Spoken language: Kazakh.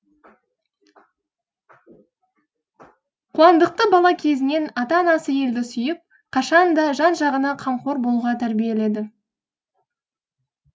қуандықты бала кезінен ата анасы елді сүйіп қашан да жан жағына қамқор болуға тәрбиеледі